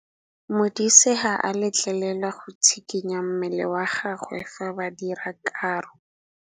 Modise ga a letlelelwa go tshikinya mmele wa gagwe fa ba dira karô.